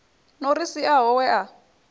no ri siaho we a